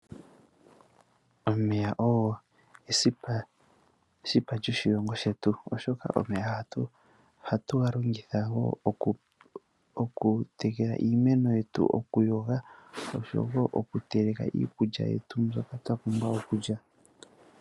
Omeya ogo esipa lyoshilongo shetu, oshoka omeya oha tu ga longitha wo oku tekela iimeno yetu, oku yoga, osho wo oku oku teleka iikulya yetu mbyoka twa pumbwa okulya.